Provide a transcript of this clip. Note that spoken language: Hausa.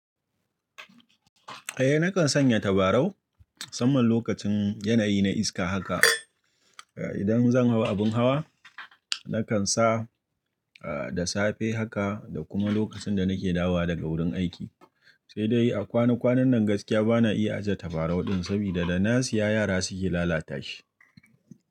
Eh nakan sanya tabarau musanman lokacin yanayi na iska haka. Idan zan hau abun hawa nakan sa da safe haka da kuma lokacin da nake dawa daga wurin aiki. Sai dai a kwanan kwanan nan gaskiya bana iya ajjiye tabarau din saboda da na siya yara suke lalata shi.